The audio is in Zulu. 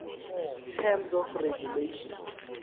terms of regulation